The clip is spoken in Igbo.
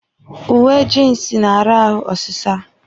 Uwe jiinsi na-ara ahụ ọsịsa.